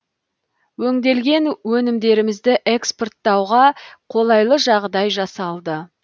өңделген өнімдерімізді экспорттауға қолайлы жағдай жасалды